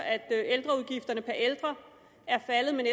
at ældreudgifterne per ældre er faldet med